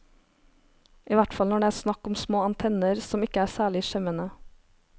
I hvert fall når det er snakk om små antenner, som ikke er særlig skjemmende.